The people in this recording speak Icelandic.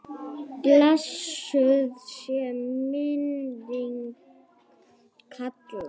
Blessuð sé minning Kalla.